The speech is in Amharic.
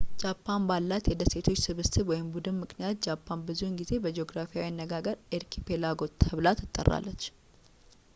ጃፓን ባላት የደሴቶች ስብስብ/ቡድን ምክንያት ጃፓን ብዙውን ጊዜ በጂኦግራፊያዊ አነጋገር አርኪፔላጎ ተብላ ትጠራለች